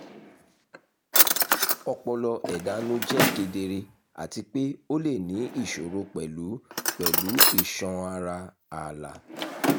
ọpọlọ ẹdanu jẹ kedere ati pe o le ni iṣoro pẹlu pẹlu iṣan ara aala